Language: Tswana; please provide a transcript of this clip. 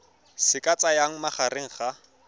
se ka tsayang magareng ga